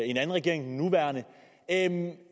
en anden regering end